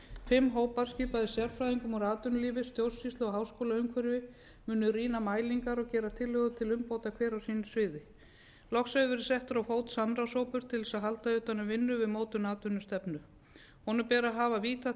fimm hópar skipaðir sérfræðingum úr atvinnulífi stjórnsýslu og háskólaumhverfi munu rýna mælingar og gera tillögur til umbóta hver á sínu sviði loks hefur verið settur á fót samráðshópur til þess að halda utan um vinnu við mótun atvinnustefnu honum ber að hafa víðtækt samráð